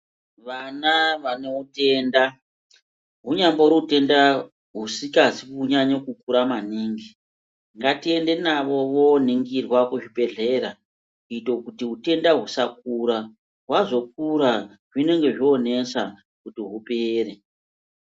Vana vanotenda hunyambori utenda husikazi kunyange kukura maningi ngatiende navo vanoningirwa kuchibhedhlera kuitire kuti utenda husakura vazokura zvinenge zvonesa kuti hupere.